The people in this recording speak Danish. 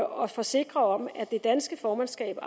og forsikre om at det danske formandskab på